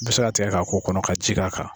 Bi se k'a tigɛ k'a ko kɔnɔ ka ji k'a kan.